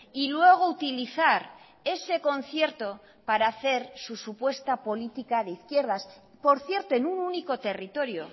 y luego utilizar ese concierto para hacer su supuesta política de izquierdas por cierto en un único territorio